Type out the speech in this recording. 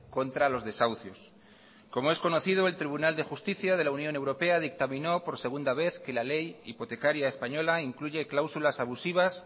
contra los desahucios como es conocido el tribunal de justicia de la unión europea dictaminó por segunda vez que la ley hipotecaria española incluye cláusulas abusivas